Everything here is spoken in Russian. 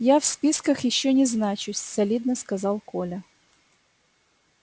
я в списках ещё не значусь солидно сказал коля